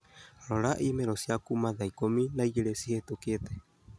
Rora i-mīrū cia kuuma thaa ikũmi na igĩrĩ cihĩtũkite